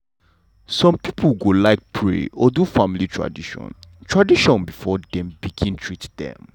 some pipo go like pray or do family tradition tradition before dem begin treat dem.